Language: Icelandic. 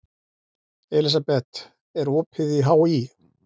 Elísabeth, er opið í HÍ?